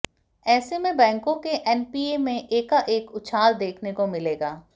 ऐसे में बैंकों के एनपीए में एकाएक उछाल देखने को मिलेगा